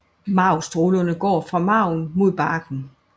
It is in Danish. Marvstrålerne går fra marven mod barken